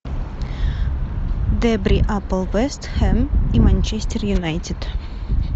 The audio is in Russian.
дерби апл вест хэм и манчестер юнайтед